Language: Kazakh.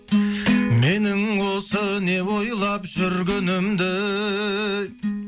менің осы не ойлап жүргенімді